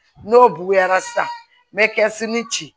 N'o bonyara sisan n bɛ ci